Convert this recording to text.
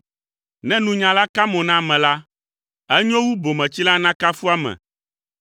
Ne nunyala ka mo na ame la, enyo wu bometsila nakafu ame